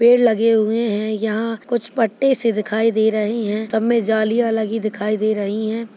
पेड़ लगे हुए है यहाँ कुछ पट्टे से दिखाई दे रही है सब में जलियां लगी दिखाई दे रही है।